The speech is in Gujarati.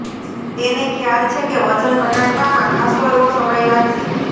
તેને ખ્યાલ છે કે વજન ઘટાડવામાં ખાસ્સો એવો સમય લાગશે